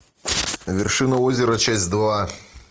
вершина озера часть два